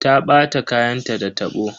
Ta ɓata kayanta da tabo.